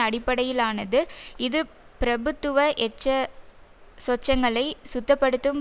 அடிப்படையிலானது இது பிரபுத்துவ எச்ச சொச்சங்களை சுத்தப்படுத்தும்